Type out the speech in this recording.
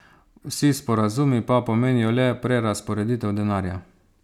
Vsi sporazumi pa pomenijo le prerazporeditev denarja.